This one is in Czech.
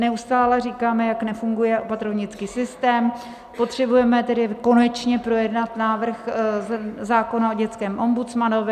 Neustále říkáme, jak nefunguje opatrovnický systém, potřebujeme tedy konečně projednat návrh zákona o dětském ombudsmanovi.